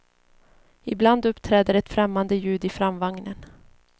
Ibland uppträder ett främmande ljud i framvagnen.